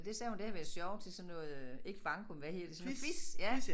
Det sagde hun det havde været sjovt til sådan noget øh ikke banko men hvad hedder det sådan noget quiz ja